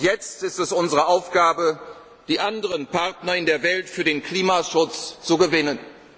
Jetzt ist es unsere Aufgabe, die anderen Partner in der Welt für den Klimaschutz zu